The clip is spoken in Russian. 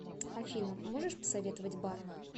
афина можешь посоветовать бар